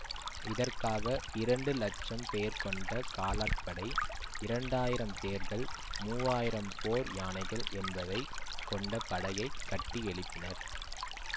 இதற்காக இரண்டு லட்சம் பேர் கொண்ட காலாட்படை இரண்டு ஆயிரம் தேர்கள் மூஆயிரம் போர் யானைகள் என்பவை கொண்ட படையைக் கட்டியெழுப்பினர்